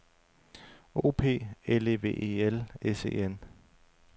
O P L E V E L S E N